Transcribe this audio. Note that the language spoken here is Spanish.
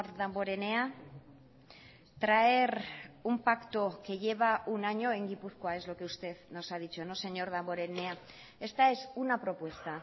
damborenea traer un pacto que lleva un año en gipuzkoa es lo que usted nos ha dicho no señor damborenea esta es una propuesta